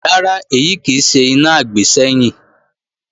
Rárá, èyí kì í ṣe iná àgbésẹ́yìn